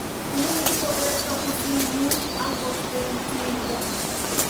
Imuchi kokerto pusinyu angot eng' tuindo